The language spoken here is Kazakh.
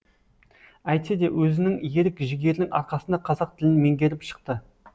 әйтсе де өзінің ерік жігерінің арқасында қазақ тілін меңгеріп шықты